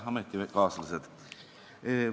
Head ametikaaslased!